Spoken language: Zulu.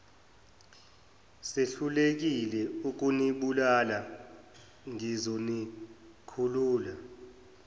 sehlulekile ukunibulala ngizonikhulula